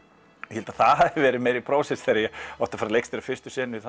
ég held að það hafi verið meira þegar ég átti að fara að leikstýra fyrstu senunni þar